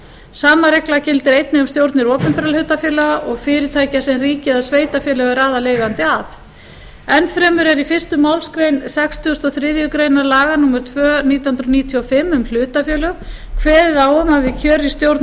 sama regla gildir einnig um stjórnir opinberra hlutafélaga og fyrirtækja sem ríki eða sveitarfélag er aðaleigandi að enn fremur er í fyrstu málsgrein sextíu og þrjár greinar laga númer tvö nítján hundruð níutíu og fimm um hlutafélög kveðið á um að við kjör í stjórn